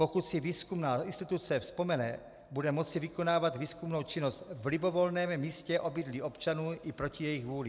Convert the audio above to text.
Pokud si výzkumná instituce vzpomene, bude moci vykonávat výzkumnou činnost v libovolném místě obydlí občanů i proti jejich vůli.